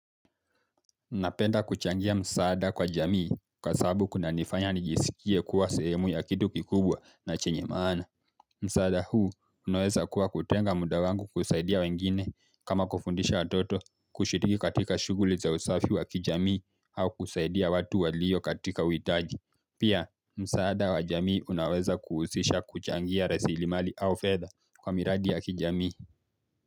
Napenda kuchangia msaada kwa jamii kwa sababu kunanifanya nijisikie kuwa sehemu ya kitu kikubwa na chenye maana. Msaada huu unaweza kuwa kutenga muda wangu kusaidia wengine kama kufundisha watoto kushiriki katika shughuli za usafi wa kijamii au kusaidia watu waliyo katika uitaji. Pia msaada wa jamii unaweza kuhusisha kuchangia rasilimali au fedha kwa miradi ya kijamii.